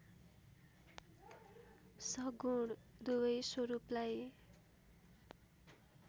सगुण दुबै स्वरूपलाई